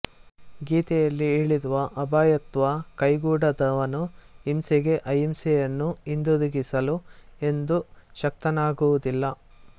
ಗೀತೆಯಲ್ಲಿ ಹೇಳಿರುವ ಅಭಯತ್ವ ಕೈಗೂಡದವನು ಹಿಂಸೆಗೆ ಅಹಿಂಸೆಯನ್ನು ಹಿಂದಿರುಗಿಸಲು ಎಂದೂ ಶಕ್ತನಾಗುವುದಿಲ್ಲ